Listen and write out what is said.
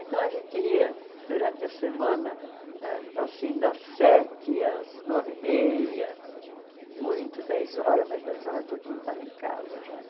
Então a gente ia durante a semana, eh assim, das sete às nove e meia, muito, dez horas, mas dez horas, todo mundo estava em casa já, né?